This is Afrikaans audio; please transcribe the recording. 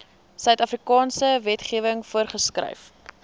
suidafrikaanse wetgewing voorgeskryf